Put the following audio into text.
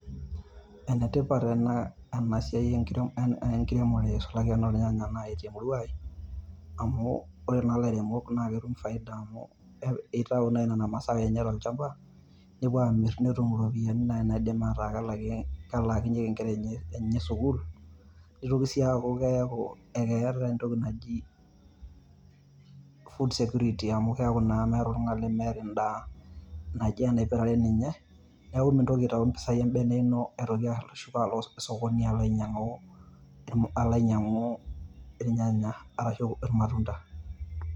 Enetipat ena, ena siai enkiremore isulaki enoo irnyanya naaji te murua ai amu ore naa ilairemok naa ketum faida amu eitayu nena masaa enye tolchamba. Nepuo aamirr netum ropiyiani naaji naidim ataa kelakinyieki nkere enye sukuul. Nitoki sii aaku keeku keeta entoki naji food security amu keeku naa meeeta oltung`anl lemeeta en`daa naji enaipirare ninye. Niaku mintoki aitayu mpisai e bene ino aitoki ashuko alo alo sokoni alo ainyiang`u aitoki, alo ainyiang`u irnyanya arashu ilmatunda.